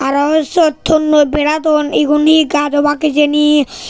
arow siyot tonnoi bera don egun hi gach obak hijeni.